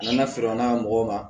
A nana f'i ɲɛna mɔgɔw ma